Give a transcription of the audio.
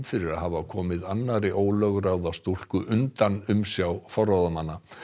fyrir að hafa komið annarri ólögráða stúlku undan umsjá forráðamanna